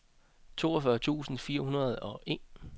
toogfyrre tusind fire hundrede og en